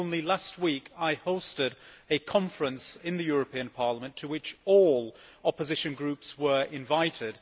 Only last week I hosted a conference in Parliament to which all opposition groups were invited.